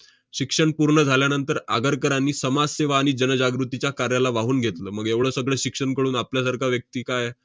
शिक्षण पूर्ण झाल्यानंतर आगरकरांनी समाजसेवा आणि जनजागृतीच्या कार्याला वाहून घेतलं. मग एवढं सगळं शिक्षण कळून आपल्यासारखा व्यक्ती काय